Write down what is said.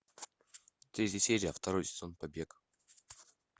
третья серия второй сезон побег